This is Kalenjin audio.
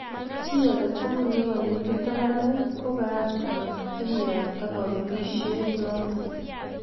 Chi age tugul ne kanekit ak ane ko kaach komanda ak kiyapta kepelisho notok